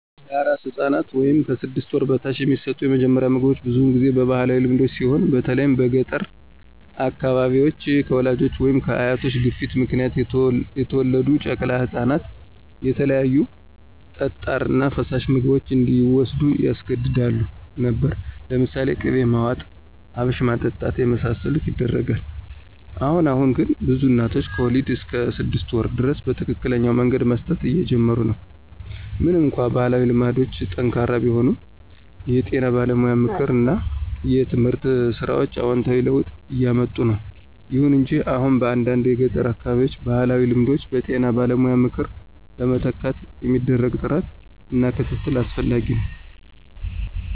ለአራስ ሕፃን (ከ 6 ወር በታች) የሚሰጡት የመጀመሪያ ምግቦች ብዙውን ጊዜ በባህላዊ ልማዶች ሲሆን በተለይም በገጠር አካባቢዎች፣ ከወላጆች ወይም ከአያቶች ግፊት ምክንያት የተወለዱ ጨቅላ ህፃናትን የተለያዩ ጠጣር እና ፈሳሽ ምግቦች እንዲዎስዱ ያስገድዱ ነበር። ለምሳሌ ቅቤ ማዋጥ፣ አብሽ ማጠጣት የመሳሰሉት ይደረጋል። አሁን አሁን ግን ብዙ እናቶች ከወሊድ እስከ 6 ወር ድረስ በትክክለኛ መንገድ መስጠት እየጀመሩ ነው። ምንም እንኳን ባህላዊ ልማዶች ጠንካራ ቢሆኑም፣ የጤና ባለሙያ ምክር እና የትምህርት ሥራዎች አዎንታዊ ለውጥ እያምጡ ነው። ይሁን እንጂ አሁንም በአንዳንድ የገጠር አካባቢዎች ባህላዊ ልማዶችን በጤና ባለሙያ ምክር ለመተካት የሚደረግ ጥረት እና ክትትል አስፈላጊ ነው።